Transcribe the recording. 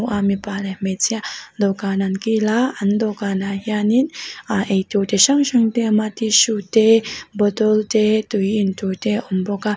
mipa leh hmeichhia dawhkan an kil a an dawhkan ah hian in ei tur chu hrang hrang te a awm a tissue te bottle te tui intur te a awm bawk a.